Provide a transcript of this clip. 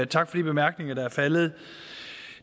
tak for de bemærkninger der er faldet